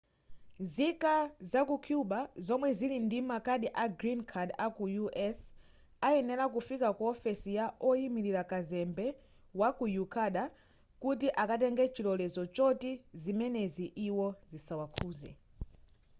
nzika zaku cuba zomwe zili ndi makadi a green card aku us ayenera kufika ku ofesi ya oyimilira kazembe waku ecuador kuti akatenge chilolezo choti zimenezi iwo zisawakhuze